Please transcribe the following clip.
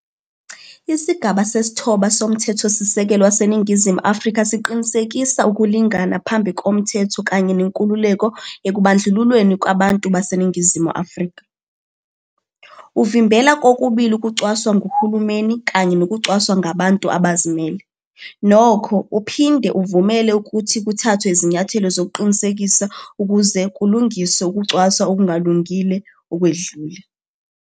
Isigaba Sesithoba soMthethosisekelo waseNingizimu Afrika siqinisekisa ukulingana phambi komthetho kanye nenkululeko ekubandlululweni kwabantu baseNingizimu Afrika. Uvimbela kokubili ukucwaswa nguhulumeni kanye nokucwaswa ngabantu abazimele, nokho, uphinde uvumele ukuthi kuthathwe izinyathelo zokuqinisekisa ukuze kulungiswe ukucwasa okungalungile okwedlule.